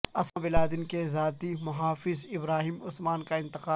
Usama bin Laden کے ذاتی محافظ ابراہیم عثمان کا انتقال